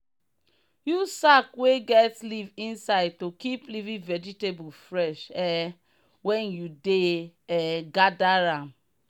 use sack wey get leaf inside to keep leafy vegetable fresh um when you dey um gather am.